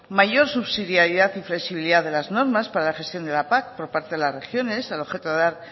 mayor subsidiariedad y flexibilidad de las normas para la gestión de la pac por parte de las regiones al objeto de dar